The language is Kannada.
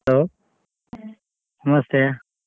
Hello ನಮಸ್ತೆ.